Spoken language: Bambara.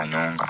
A dɔn kan